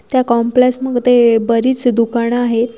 त्या कॉम्प्लॅस मध्ये बरीच दुकानं आहेत.